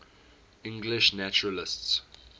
english naturalists